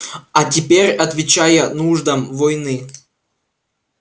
а теперь отвечая нуждам войны